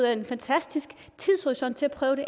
er en fantastisk tidshorisont til at prøve det